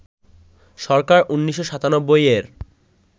সরকার ১৯৯৭-এর